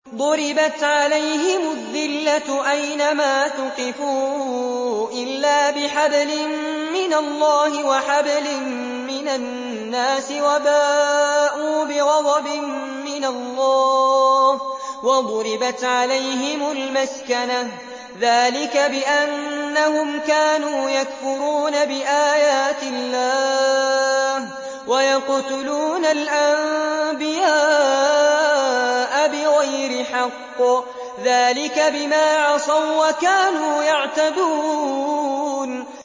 ضُرِبَتْ عَلَيْهِمُ الذِّلَّةُ أَيْنَ مَا ثُقِفُوا إِلَّا بِحَبْلٍ مِّنَ اللَّهِ وَحَبْلٍ مِّنَ النَّاسِ وَبَاءُوا بِغَضَبٍ مِّنَ اللَّهِ وَضُرِبَتْ عَلَيْهِمُ الْمَسْكَنَةُ ۚ ذَٰلِكَ بِأَنَّهُمْ كَانُوا يَكْفُرُونَ بِآيَاتِ اللَّهِ وَيَقْتُلُونَ الْأَنبِيَاءَ بِغَيْرِ حَقٍّ ۚ ذَٰلِكَ بِمَا عَصَوا وَّكَانُوا يَعْتَدُونَ